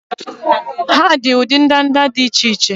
Ha bụ ụdị ndanda dị iche iche